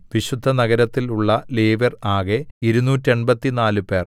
വിശുദ്ധനഗരത്തിൽ ഉള്ള ലേവ്യർ ആകെ ഇരുനൂറ്റെൺപത്തിനാല് പേർ